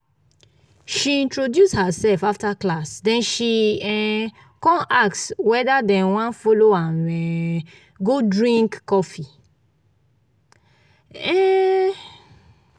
she introduce herself after class then she um con ask whether dem wan follow am um go drink coffee. um